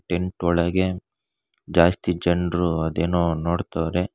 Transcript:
Tent ಒಳಗೆ ಜಾಸ್ತಿ ಜನರು ಅದೇನೋ ನೋಡ್ತಾವ್ರೆ.